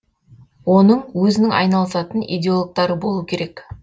оның өзінің айналысатын иделогтары болу керек